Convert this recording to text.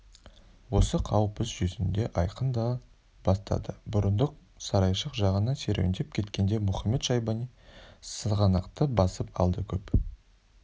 осы қауіп іс жүзінде айқындала бастады бұрындық сарайшық жағына серуендеп кеткенде мұхамед-шайбани сығанақты басып алды көп